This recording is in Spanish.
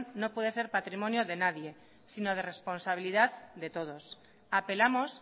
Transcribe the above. no puede ser patrimonio de nadie sino de responsabilidad de todos apelamos